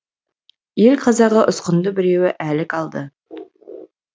ел қазағы ұсқынды біреуі әлік алды